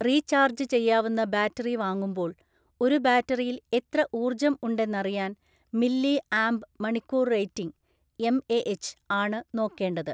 Recharge ചെയ്യാവുന്ന battery വാങ്ങുമ്പോൾ ഒരു ബാറ്ററിയിൽ എത്ര ഊർജ്ജം ഉണ്ടെന്നറിയാൻ മില്ലിആമ്പ് മണിക്കൂർ റേറ്റിംഗ് (എംഎഎച്ച്) ആണ് നോക്കേണ്ടത്.